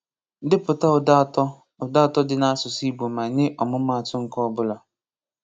Depụta ụda atọ ụda atọ dị na asụsụ Igbo ma nye ọmụmatụ nke ọ bula.